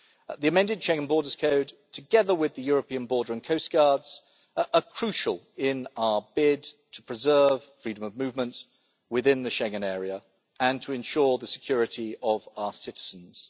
The amended Schengen Borders Code, together with the European border and coast guards, are crucial in our bid to preserve freedom of movement within the Schengen Area and to ensure the security of our citizens.